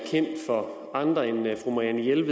helt